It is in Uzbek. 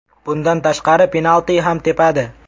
Bundan tashqari penalti ham tepadi.